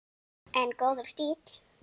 En góður stíll!